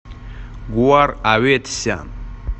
гоар аветисян